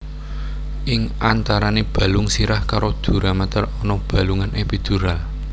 Ing antarane balung sirah karo duramater ana bolongan epidural